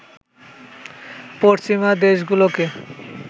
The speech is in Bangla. পশ্চিমা দেশগুলোকে